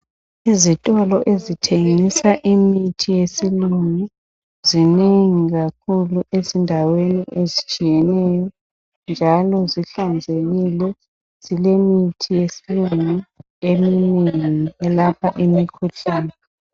Izitolo ezithengisa imithi yesilungu zinengi kakhulu ezindaweni ezitshiyeneyo njalo zihlanzekile zilemithi yesilungu eminengi elapha imikhuhlane.